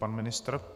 Pan ministr.